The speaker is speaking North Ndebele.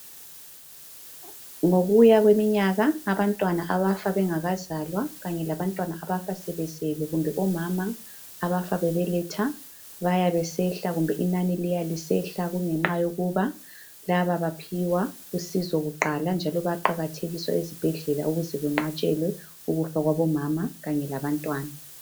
Ngokuya kweminyaka abantwana abafa bengakazalwa kanye labantwana abafa sebezelwe kumbe omama abafa bebeletha baya besehla kumbe inani liyehla kungenxa yokuba laba bathola uncedo kuqala njalo bayaqakathekiswa ezibhedlela ukuze kunqatshelwe ukufa kwabomama kanye labantwana.